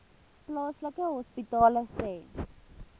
plaaslike hospitale sê